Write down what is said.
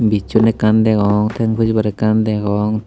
bijson ekkan degong teng pujibar ekkan degong.